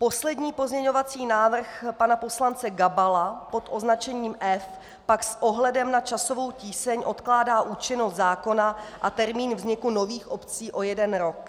Poslední pozměňovací návrh pana poslance Gabala pod označením F pak s ohledem na časovou tíseň odkládá účinnost zákona a termín vzniku nových obcí o jeden rok.